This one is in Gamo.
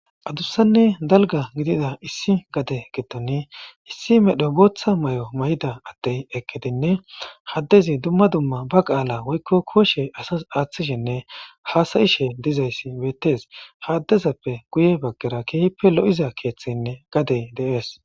Adursanne dalga gidida issi gade gettoni issi medho bootha may'o may'da attey ekkedinne haddezi dumma dumma ba qaala woykko kooshe asas aaththishinne haasayishe dizayssi beettes haddezappe guye baggera keehippe lo'iza keeththenne gadey deees.